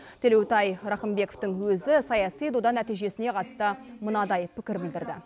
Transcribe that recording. төлеутай рақымбековтің өзі саяси дода нәижесіне қатысты мынадай пікір білдірді